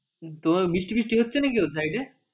তোমার বৃষ্টি টিসটি হচ্ছে নাকি ওই side এ?